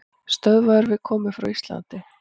Stöðvaður við komu frá Íslandi